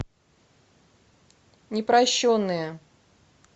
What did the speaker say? непрощенные